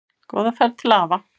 Góða ferð til afa.